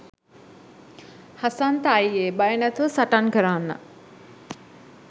හසන්ත අයියේ බය නැතුව සටන් කරන්න